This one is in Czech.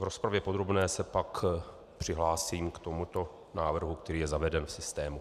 V rozpravě podrobné se pak přihlásím k tomuto návrhu, který je zaveden v systému.